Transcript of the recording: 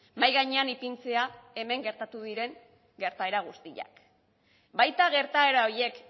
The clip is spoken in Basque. mahai gainean ipintzea hemen gertatu diren gertaera guztiak baita gertaera horiek